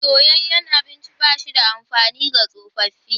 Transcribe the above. Soyayyen abinci ba shi da amfani ga tsofaffi.